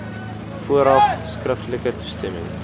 vooraf skriftelike toestemming